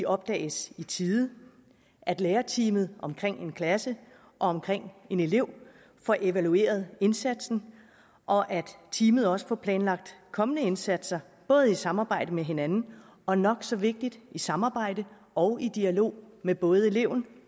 opdages i tide at lærerteamet omkring en klasse og omkring en elev får evalueret indsatsen og at teamet også får planlagt kommende indsatser både i samarbejde med hinanden og nok så vigtigt i samarbejde og i dialog med både eleven